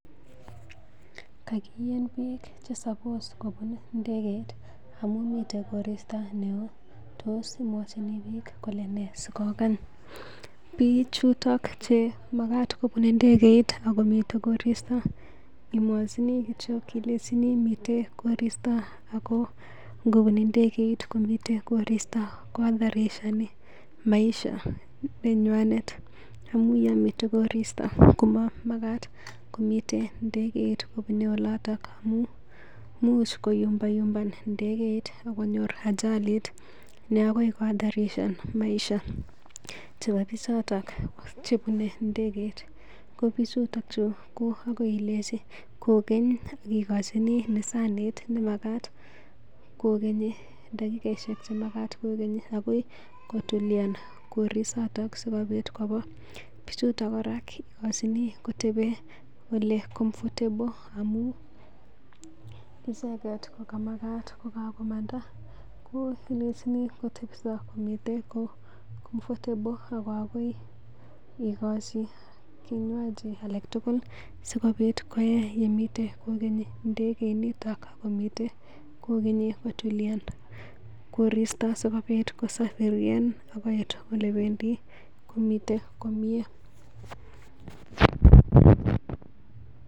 Kakien piik chesapos kopun ndeget amun mite koristo neo tos imwachini biik kole nee sokokene? Biik chuto magat kobun ndegeit ago mi koristo imwachini kityog ilenchi miten koristo ago ngobun ndegeit komiten koristo ko hatarishoni maisha nenywanet amun yon miten koristo komamagat komiten ndegeit kobune oloton. Amun imuch koyumbayumban ndegeit ak konyor ajali ne agoi kohatarishan maisha it ab bichoto chebune ndegeit. Ko bichuto chu ko agoi ilenchi kogen igochi dakikoishek chemagat kogeni, agoi kotulian korisoto sikobit koba bichoto kora igojini koteben ole comfortable amun icheget kokamagat kokagomanda ko ilenchini kotepso komiten ko comfortble ago akoi igochi kinywaji alak tugul sikobit koye yemite kogeni ndegeinito komiten kogeni kotulian koristo sikobit kosafiren agoi olekobendi komiten komye.